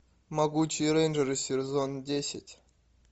могучие рейнджеры сезон десять